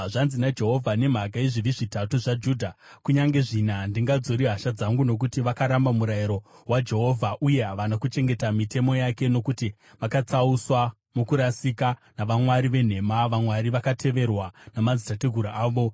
Zvanzi naJehovha: “Nemhaka yezvivi zvitatu zvaJudha, kunyange zvina, handingadzori hasha dzangu. Nokuti vakaramba murayiro waJehovha uye havana kuchengeta mitemo yake, nokuti vakatsauswa mukurasika navamwari venhema, vamwari vakateverwa namadzitateguru avo,